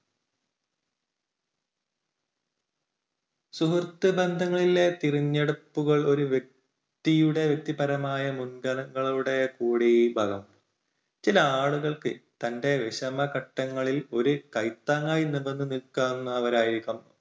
സുഹൃത്ത് ബന്ധങ്ങളിലെ തിരഞ്ഞെടുപ്പുകൾ ഒരു വ്യക്തിയുടെ വ്യക്തിപരമായ മുൻഗണങ്ങളുടെ കൂടി ഫലമാണ്. ചില ആളുകൾക്ക് തന്റെ വിഷമഘട്ടങ്ങളിൽ ഒരു കൈത്താങ്ങായി നിവർന്നു നിൽക്കാവുന്നതായിരിക്കണം